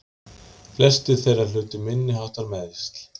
Flestir þeirra hlutu minniháttar meiðsl